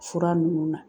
Fura ninnu na